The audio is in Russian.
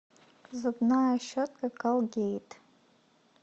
зубная щетка колгейт